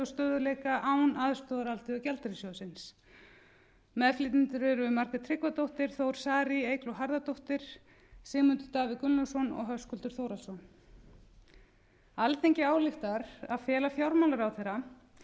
stöðugleika án aðstoðar alþjóðagjaldeyrissjóðsins meðflytjendur eru margrét tryggvadóttir þór saari eygló harðardóttir sigmundur davíð gunnlaugsson höskuldur þórhallsson alþingi ályktar að fela fjármálaráðherra